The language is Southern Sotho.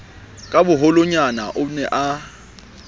ka boholonyana o ne a